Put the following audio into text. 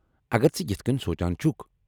اگر ژٕ یتھہٕ كِنۍ سونچان چُھكھ ۔